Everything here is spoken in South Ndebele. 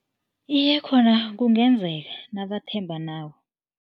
Iye khona, kungenzeka nabathembanako.